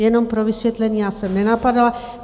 Jenom pro vysvětlení, já jsem nenapadala.